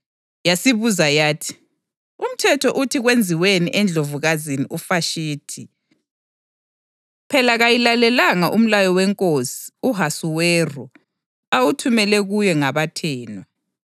Yasibuza yathi, “Umthetho uthi kwenziweni eNdlovukazini uVashithi? Phela kayilalelanga umlayo wenkosi u-Ahasuweru awuthumele kuyo ngabathenwa.”